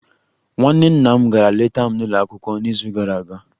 Nwa nwanne nna m gara leta m n'ụlọ akwụkwọ n'izu gara aga